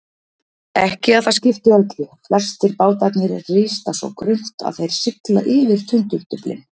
Ekki að það skipti öllu, flestir bátarnir rista svo grunnt að þeir sigla yfir tundurduflin.